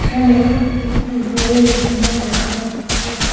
এখানে একটি বইয়ের দোকান দেখা যাচ্ছে।